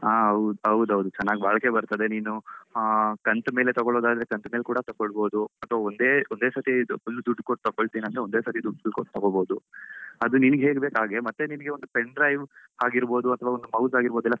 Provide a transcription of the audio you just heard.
ಹಾ ಹೌದು ಹೌದೌದು ಚೆನ್ನಾಗಿ ಬಾಳಿಕೆ ಬರ್ತದೇ ನೀನು ಅಹ್ ಕಂತು ಮೇಲೆ ತಗೊಳುದಾದ್ರೆ ಕಂತು ಮೇಲೆ ಕೂಡ ತಗೋಳ್ಬೋದು ಅಥವಾ ಒಂದೇ ಒಂದೇ ಸತ್ತಿ ಇದು full ದುಡ್ಡು ಕೊಟ್ಟು ತಕೊಳ್ತೀನಿ ಅಂದ್ರೆ ಒಂದೇ ಸತ್ತಿ ದುಡ್ಡು ಕೊಟ್ಟು ತಗೋಳ್ಬೋದು, ಅದು ನಿಂಗೆ ಹೇಗ್ ಬೇಕು ಹಾಗೆ. ಮತ್ತೆ ನಿನ್ಗೆ ಒಂದು pendrive ಆಗಿರ್ಬೋದು ಅಥವಾ ಒಂದು mouse ಆಗಿರ್ಬೋದು ಎಲ್ಲ,